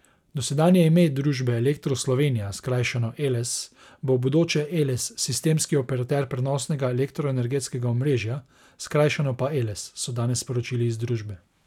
Dosedanje ime družbe Elektro Slovenija, skrajšano Eles, bo v bodoče Eles, sistemski operater prenosnega elektroenergetskega omrežja, skrajšano pa Eles, so danes sporočili iz družbe.